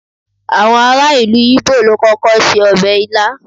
àwọn ará ìlú ibo lo kókó se obe ilá